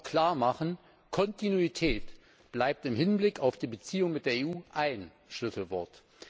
Er wird auch klarmachen Kontinuität bleibt im Hinblick auf die Beziehung mit der EU ein Schlüsselwort.